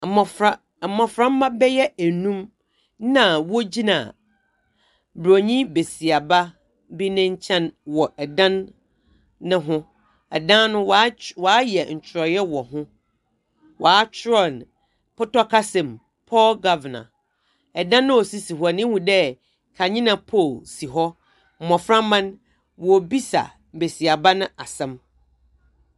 Mbofra…mboframba bɛyɛ num na wogyina Buronyi besiaba bi ne nkyɛn wɔ dan no ho. Dan no wɔayɛ nkyerɛwee wɔ ho. Wɔakyerɛw no pɔtɔ kasam. Poor governor. Ɛdan no a osisi hɔ no. ihu dɛ kanea pole si hɔ,. Mboframba no, wɔrebisa besiaba no asɛm.